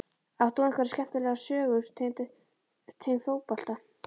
Átt þú einhverja skemmtilega sögu tengda fótbolta?